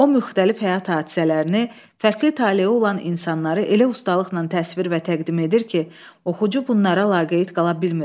O müxtəlif həyat hadisələrini, fərqli taleyi olan insanları elə ustalıqla təsvir və təqdim edir ki, oxucu bunlara laqeyd qala bilmir.